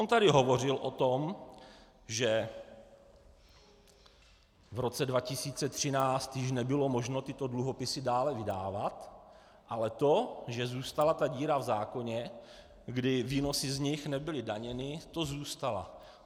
On tady hovořil o tom, že v roce 2013 již nebylo možno tyto dluhopisy dále udávat, ale to, že zůstala ta díra v zákoně, kdy výnosy z nich nebyly daněny, to zůstala.